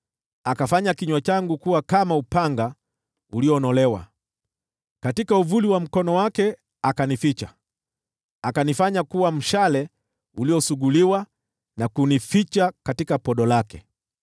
Akafanya kinywa changu kuwa kama upanga ulionolewa, katika uvuli wa mkono wake akanificha; akanifanya kuwa mshale uliosuguliwa, na kunificha katika podo lake.